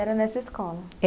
Era nessa escola?